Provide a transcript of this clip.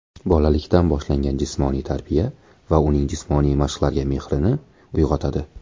Bolalikdan boshlangan jismoniy tarbiya uning jismoniy mashqlarga mehrini uyg‘otadi.